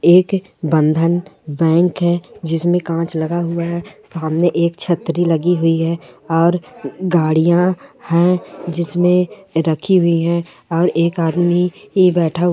एक बंधन बैंक है जिसमें कांच लगा हुआ है सामने एक छतरी लगी हुई है और गाड़ियां है जिसमें रखी हुई है और एक आदमी ए बैठा--